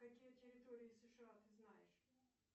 какие территории сша ты знаешь